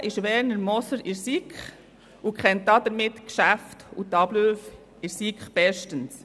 Seit 2014 ist Werner Moser in der SiK und kennt somit die Geschäfte und Abläufe in der SiK bestens.